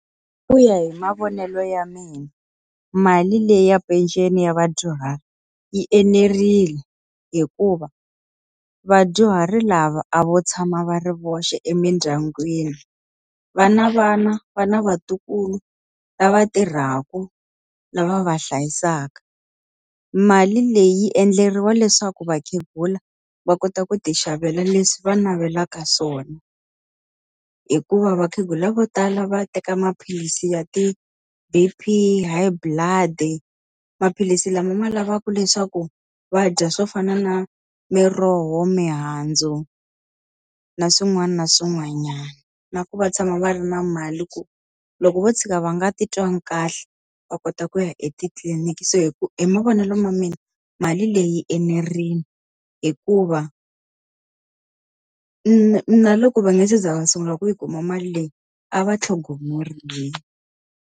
Ku ya hi mavonelo ya mina, mali leyi ya peceni ya vadyuhari yi enerile hikuva vadyuhari lava a vo tshama va ri voxe emindyangwini, va na vana, va na vatukulu lava tirhaka lava va hlayisaka. Mali leyi yi endleriwa leswaku vakhegula va kota ku ti xavela leswi va navelaka swona hikuva vakhegula vo tala va teka maphilisi ya ti-B_P, ya ti-high blood, maphilisi lama ma lavaku leswaku va dya swo fana na miroho, mihandzu na swin'wana na swin'wanyana. Na ku va tshama va ri na mali ku loko vo tshika va nga titwangi kahle, va kota ku ya etitliniki. So hi mavonelo ya mina mali leyi enerile, hikuva na na loko va nga se za va sungula ku yi kuma mali leyi a va tlhogomeriwa.